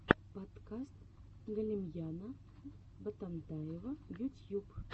подкаст галимьяна ботантаева ютьюб